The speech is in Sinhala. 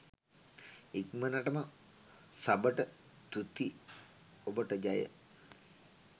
ඉක්මනටම සබට තුති ඔබට ජය